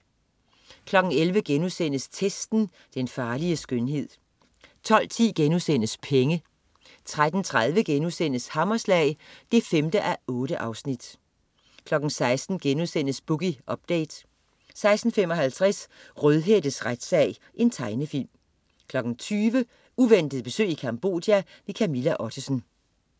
11.00 Testen. Den farlige skønhed* 12.10 Penge* 13.30 Hammerslag 5:8* 16.00 Boogie Update* 16.55 Rødhættes retssag. Tegnefilm 20.00 Uventet besøg i Cambodia. Camilla Ottesen